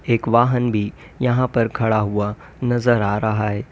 एक वाहन भी यहां पर खड़ा हुआ नजर आ रहा है।